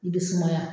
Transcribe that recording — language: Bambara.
I bɛ sumaya